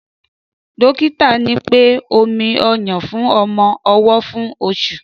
Dọkìtá ni pẹ; òmí ọyún fún ọmọ ọwó fún òsú